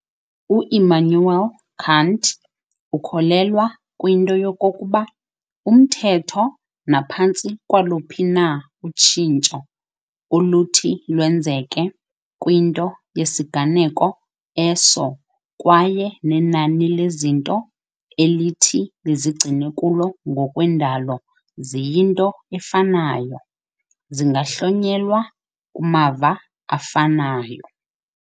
U-Immanuel Kant ukholelwa kwinto yokokuba umthetho naphantsi kwaluphi na utshintsho oluthi lwenzeke kwinto yesiganeko eso kwaye nenani lezinto elithi lizigcine kulo ngokwendalo ziyinto efanayo, zingahlonyelwa k"mava afanayo."